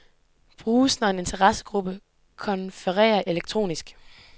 Bruges, når en interessegruppe konfererer elektronisk.